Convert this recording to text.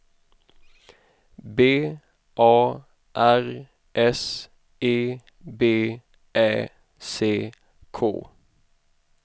B A R S E B Ä C K